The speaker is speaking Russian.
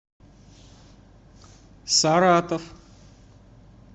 саратов